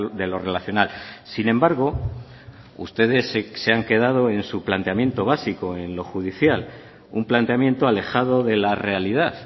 de lo relacional sin embargo ustedes se han quedado en su planteamiento básico en lo judicial un planteamiento alejado de la realidad